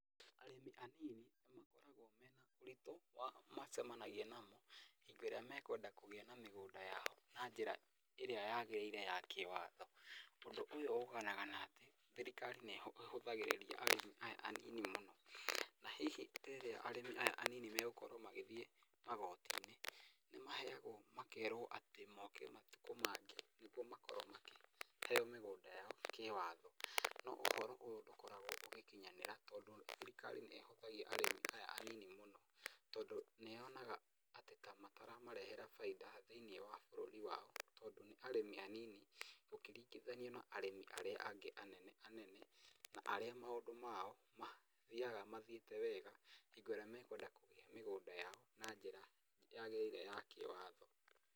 Arĩmi anini, nĩmakoragwo mena ũritũ wa, macemanagia naguo, hingo ĩrĩa mekwenda kũgĩa na mĩgũnda yao, na njĩra ĩrĩa yagĩrĩire ya kĩwatho, ũndũ ũyũ ũkanaga na atĩ thirikari nĩhũthagĩrĩria arĩmi aya anini mũno, na hihi rĩrĩa arĩmi aya anini megũkorwo magĩthi magoti-inĩ, nĩmaheagwo makerwo atĩ moke matukũ mangĩ nĩguo makorwo makĩheo mĩgũnda yao kĩ watho, no ũhoro ũyũ ndũkoragwo ũgĩkinyanĩra tondũ thirikari nĩhũthagia arĩmi aya anini mũno, tondũ nĩyonaga atĩ tamataramarehera baida thĩ-inĩ wa bũrũri wao tondũ ũkĩringithania na arími arĩa angĩ anene anene na arĩa maũndũ mao mathiaga mathiĩte wega hingo ĩrĩa mekwenda kũgĩa mĩgũnda yao na njĩra yagĩrĩire ya kĩ watho.